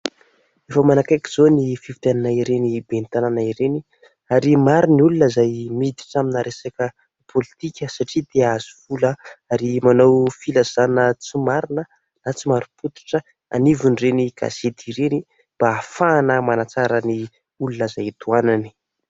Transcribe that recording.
Efa manakaiky izao ny fifidianana ireny ben'ny tanàna ireny ; ary maro ny olona izay miditra amina resaka politika satria te ahazo vola ; ary manao filazana tsy marina na tsy mari-pototra anivon'ireny gazety ireny mba ahafahana manatsara ny olona izay tohanany.